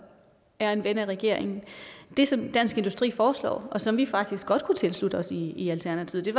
er en ven af regeringen det som dansk industri foreslår og som vi faktisk godt kunne tilslutte os i i alternativet er